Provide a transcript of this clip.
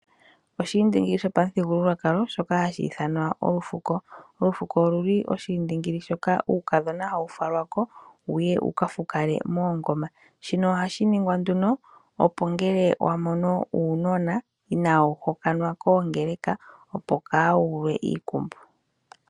Oshiindingili shopamuthigululwakalo shoka hashi ithanwa olufuko. Olufuko oluli oshiindingili shoka uukadhona hawu falwa ko wuye wuka fukale moongoma. Shino ohashi ningwa nduno opo ngele wamono uunona inaawu hokanwa koongeleka opo kaawuulwe iikumbu.